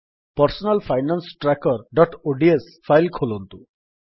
personal finance trackerଓଡିଏସ file ଖୋଲନ୍ତୁ